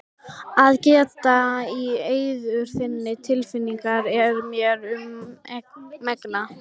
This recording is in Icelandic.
Að geta í eyður þinna tilfinninga er mér um megn.